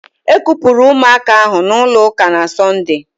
E kupụrụ ụmụaka ahụ n'ụlọ ụka na Sọnde